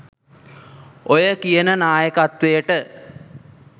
ඔය කියන නායකත්වයට